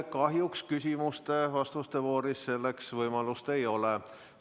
Kahjuks küsimuste-vastuste voorus selleks võimalust ei ole.